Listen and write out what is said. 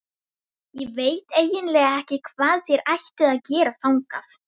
Ég veit eiginlega ekki hvað þér ættuð að gera þangað.